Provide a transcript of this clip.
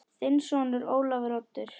Þinn sonur, Ólafur Oddur.